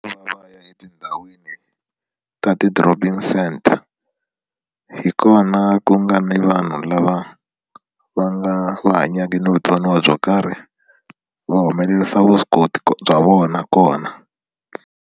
Va ya etindhawini ta ti-dropping centre hi kona ku nga ni vanhu lava va nga va hanyaka na vutsoniwa byo karhi va humelerisa vuswikoti bya vona kona.